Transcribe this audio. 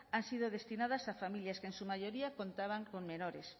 han sido destinadas a familias que en su mayoría contaban con menores